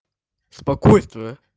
спокойствие